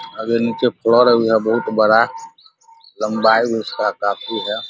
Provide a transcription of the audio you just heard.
अगर नीचे बहुत बड़ा लम्बाई भी उसका काफी है ।